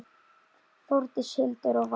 Þórdís, Hildur og Vala.